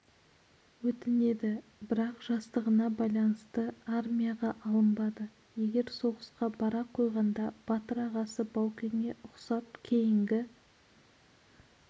өтінеді бірақ жастығына байланысты армияға алынбады егер соғысқа бара қойғанда батыр ағасы баукеңе ұқсап кейінгі